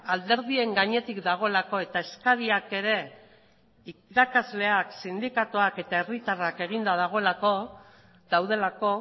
alderdien gainetik dagoelako eta eskariak ere irakasleak sindikatuak eta herritarrak eginda daudelako